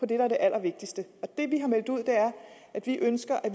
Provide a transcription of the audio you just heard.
der er det allervigtigste og det vi har meldt ud er at vi ønsker at